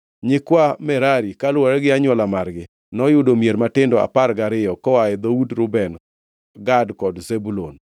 Nyikwa Merari kaluwore gi anywola margi, noyudo mier matindo apar gariyo koa e dhood Reuben, Gad kod Zebulun.